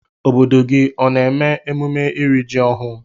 Obodo gi ona eme emume iri ji ohụ?